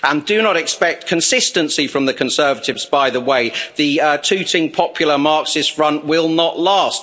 Do not expect consistency from the Conservatives, by the way. The Tooting Popular Marxist Front will not last.